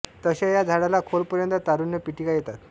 तशा या झाडाला खोल पर्यत तारुण्य पीठिका येतात